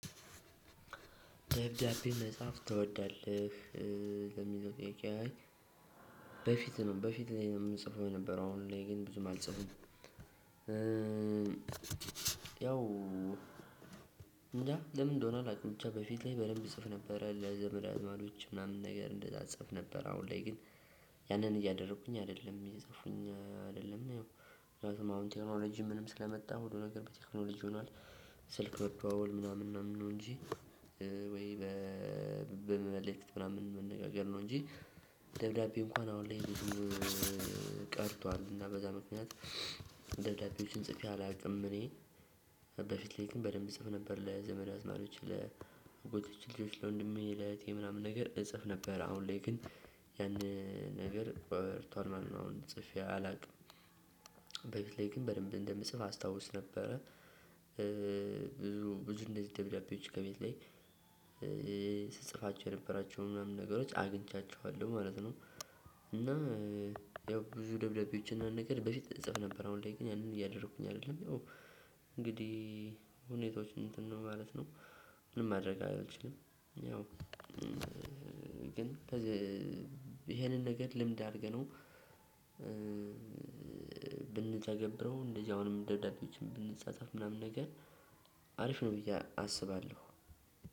ደብዳቤ መጻፍ ትወዳለህ ለሚለው ጥያቄ? አይ በፊት ነው በፊት ላይ ነው የምንጽፈው የነበረው አሁን ላይ ግን ብዙም አልጽፍም። ያው እንጃ ለምን እንደሆነ አላቅም። በፊት ላይ በደንብ እጽፍ ነበር ለዘመድ አዝማዶች ምናምን ነገር እንደዛ እጽፍ ነበር። አሁን ላይ ግን ያንን እያደረኩኝ አይደለም እየጻፉኝ አይደለም። ምክያቱም አሁን ቴክኖሎጂ ምንም ስለመጣ ሁሉ ነገር በቴክኖሎጂ ሆኗል። ስልክ መደዋወል ምናምን ምናምን ነው እንጂ። ወይ በመመልከት ምናምን መነጋገር ነው እንጂ። ደብዳቤ እንኳን አሁን ላይ ብዙ ቀርቷል እና በዛ ምክንያት ደብዳቤዎችን ጽፌ አላቅም። እኔ በፊት ላይ ግን በደንብ እጽፍ ነበር። ለዘመድ አዝማዶች ለ ጎቶቼ ልጆች ለወንድሜ ለእህቴ ምናምን ነገር እጽፍ ነበር። አሁን ላይ ግን ያንን ነገር በርቷል ማለት ነው አሁን ጽፌ አላውቅም። በፊት ላይ ግን በደንብ እንደምጽፍ አስታውስ ነበረ። ብዙ ብዙ እንደዚህ ደብዳቤዎች ከቤት ላይ ስትጽፋቸው የነበራቸው ምናምን ነገሮች አግኝቻቸዋለሁ ማለት ነው። እና ያው ብዙ ደብዳቤዎችን ነገር በፊት እጽፍ ነበር አሁን ላይ ግን ያንን እያደረኩኝ አይደለም። እንግዲህ ሁኔታዎች እንትን ነው ማለት ነው። ምን ማድረግ አልችልም። ያው ግን ይሄንን ነገር ልምድ አድርገነው። ብንተገብረው እንደዚህ አሁንም ደብዳቤዎችን ብንጻጻፍ ምናምን ነገር አሪፍ ነው ብዬ አስባለሁ።